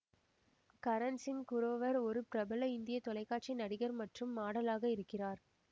கரண் சிங் குரோவர் ஒரு பிரபல இந்திய தொலைக்காட்சி நடிகர் மற்றும் மாடலாக இருக்கிறார்